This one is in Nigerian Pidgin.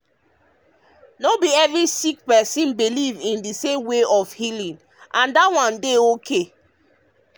as e be no be every sick person believe in the same kind healing and that one dey okay.